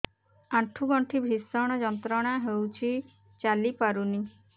ଆଣ୍ଠୁ ଗଣ୍ଠି ଭିଷଣ ଯନ୍ତ୍ରଣା ହଉଛି ଚାଲି ପାରୁନି